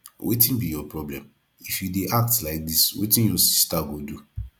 wetin be your problem if you dey act like dis wetin your sister go do